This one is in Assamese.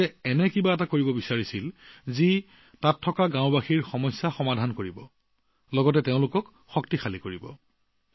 তেওঁলোকে এনেকুৱা কাম কৰিব বিচাৰিছিল যিয়ে ইয়াৰ গাঁওবাসীৰ সমস্যা সমাধান কৰি তেওঁলোকক সৱল কৰি তুলিব